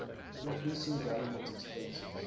increasing government expenses